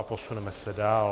A posuneme se dál.